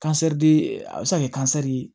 Kansɛriden a bɛ se ka kɛ kansɛri ye